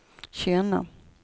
känna